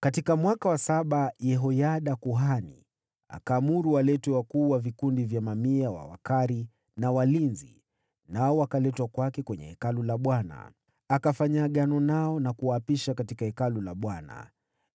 Katika mwaka wa saba, Yehoyada akatumania wakuu wa vikundi vya mamia, na Wakari, na walinzi, nao wakaletwa kwake katika Hekalu la Bwana . Alifanya agano nao na kuwaapisha katika Hekalu la Bwana .